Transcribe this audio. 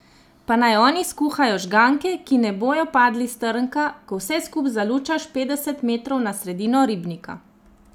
Pa naj oni skuhajo žganke, ki ne bojo padli s trnka, ko vse skup zalučaš petdeset metrov na sredino ribnika!